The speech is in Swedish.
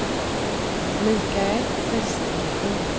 Mikael Vesterlund